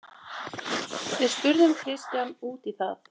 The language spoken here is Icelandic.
Við spurðum Kristján út í það.